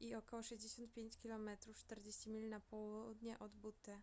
i około 65 km 40 mil na południe od butte